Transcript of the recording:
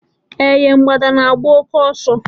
Eh ye! Mgbada na-agba òké ọsọ